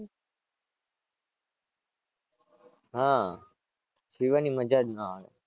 હાં જીવવાની મજા જ ના આવે.